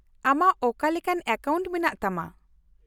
-ᱟᱢᱟᱜ ᱚᱠᱟ ᱞᱮᱠᱟᱱ ᱮᱠᱟᱣᱩᱱᱴ ᱢᱮᱱᱟᱜ ᱛᱟᱢᱟ ?